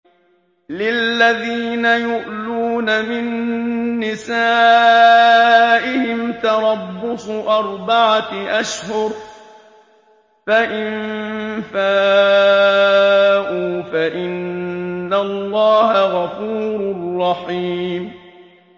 لِّلَّذِينَ يُؤْلُونَ مِن نِّسَائِهِمْ تَرَبُّصُ أَرْبَعَةِ أَشْهُرٍ ۖ فَإِن فَاءُوا فَإِنَّ اللَّهَ غَفُورٌ رَّحِيمٌ